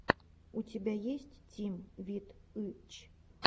у тебя есть тим вит ы ч